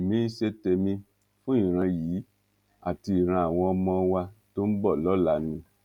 èmi ń ṣe tèmi fún ìran yìí àti ìran àwọn ọmọ wa tó ń bọ lọla ni